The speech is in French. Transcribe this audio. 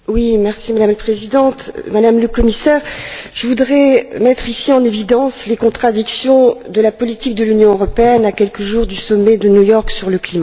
Madame la Présidente, Madame le Commissaire, je voudrais mettre ici en évidence les contradictions de la politique de l'Union européenne à quelques jours du sommet de New York sur le climat.